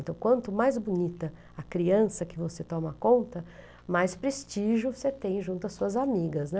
Então, quanto mais bonita a criança que você toma conta, mais prestígio você tem junto às suas amigas, né?